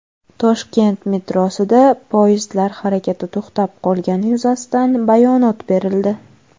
Toshkent metrosida poyezdlar harakati to‘xtab qolgani yuzasidan bayonot berildi.